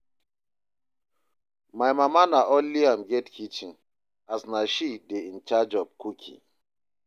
my mama na only am get kitchen as na she dey incharge of cooking